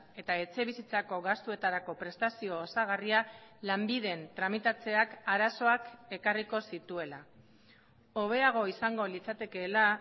eta etxebizitzako gastuetarako prestazio osagarria lanbiden tramitatzeak arazoak ekarriko zituela hobeago izango litzatekeela